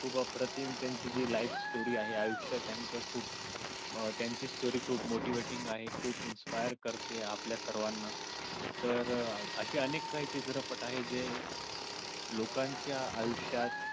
खूप अप्रतिम जी त्यांची life story आहे आयुष्य त्यांचे खूप त्यांची story खूप motivating आहे खूप inspire करते आपल्या सर्वाना तर अशे अनेक काही चित्रपट आहेत जे लोकांच्या आयुष्यात